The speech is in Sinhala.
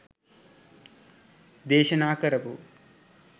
දේශනා කරපු